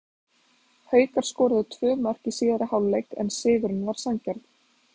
Haukar skoruðu tvö mörk í síðari hálfleik en sigurinn var sanngjarn.